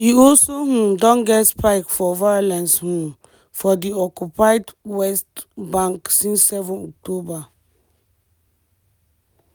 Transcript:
hala and her six children na just one few of di more dan 40000 palestinians dem kill since di start of di war for gaza.